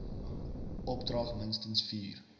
opdrag minstens vier